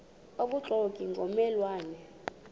obubuxoki ngomme lwane